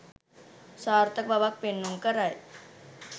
සාර්ථක බවක් පෙන්නුම් කරයි.